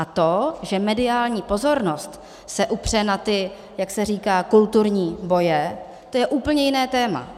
A to, že mediální pozornost se upře na ty, jak se říká, kulturní boje, to je úplně jiné téma.